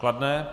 Kladné.